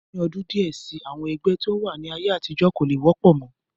Ní ọdún díẹ̀ si, àwọn ẹgbẹ́ tí ó wà ní ayé àtijọ́ kò lè wọ́pọ̀ mọ́